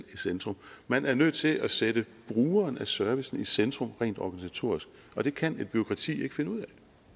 centrum man er nødt til at sætte brugeren af service i centrum rent organisatorisk og det kan et bureaukrati ikke finde ud af